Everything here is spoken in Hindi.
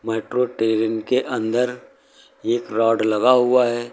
मेट्रो टेरेन के अंदर एक रॉड लगा हुआ है।